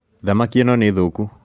Thamaki ĩno nĩ thũku